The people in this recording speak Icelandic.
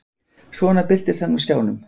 Svo birtist hann á skjánum.